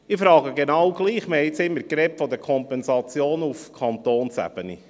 Ich frage nun trotzdem: Wir haben jetzt immer von den Kompensationen auf Kantonsebene gesprochen.